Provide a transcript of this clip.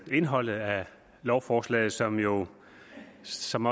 indholdet af lovforslaget som jo som